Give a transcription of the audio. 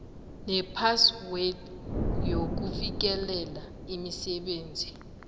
nephaswed yokufikelela imisebenzi